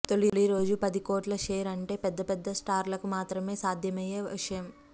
తొలి రోజు పది కోట్ల షేర్ అంటే పెద్ద పెద్ద స్టార్లకు మాత్రమే సాధ్యమయ్యే విషయం